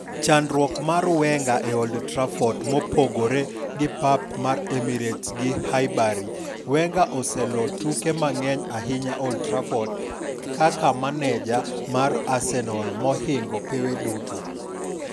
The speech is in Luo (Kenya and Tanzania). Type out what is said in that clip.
Chandruok mar Wenge e Old Trafford mopogore gi pap mar Emirates gi Highbury, Wenger oseloo tuke mang'eny ahinya Old Trafford kaka menejamar Arsenal mohingo pewe duto.